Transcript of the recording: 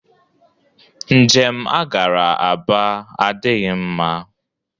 Njem a gara Aba adịghị mma